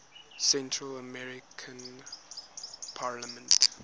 central american parliament